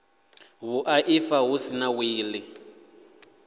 vhuaifa hu si na wili